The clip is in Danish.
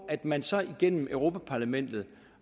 at man så igennem europa parlamentet